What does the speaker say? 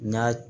N'a